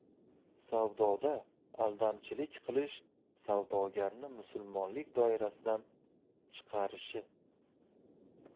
Savdoda aldamchilik qilish savdogarni musulmonlik doirasidan chiqarishi.